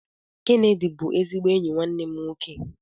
Kenedy bụ ezigbo enyi nwanne m nwoke